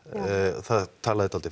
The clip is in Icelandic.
það talaði dálítið